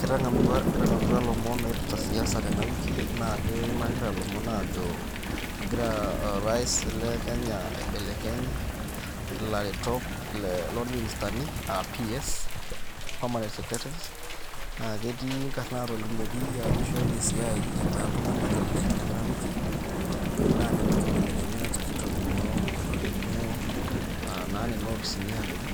Kitangamutua ,kitangamutua ilomon oipirta siasa tena wiki naa keimakita ilomon aajo egira orais le Kenya aibelekeny ile ilaretok loo ministani aa ps permanent secretaries naa ketii inkarn naa tolimwoki aajo eishooki esiai ebaya iltunganak ile tena wiki naa nena kibelekenyat kitoningo etolimwo aa naa nena kopisin aadoru